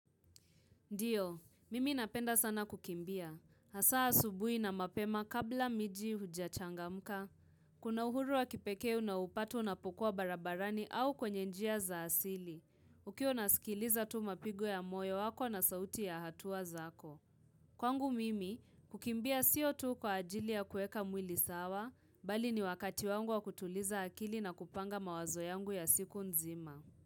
Ndiyo, mimi napenda sana kukimbia. Hasa asubui na mapema kabla miji huja changamka. Kuna uhuru wa kipekee unaopata unapokua barabarani au kwenye njia za asili. Ukiwa unasikiliza tu mapigo ya moyo wako na sauti ya hatuwa zako. Kwangu mimi, kukimbia sio tu kwa ajili ya kueka mwili sawa, bali ni wakati wangu wa kutuliza akili na kupanga mawazo yangu ya siku nzima.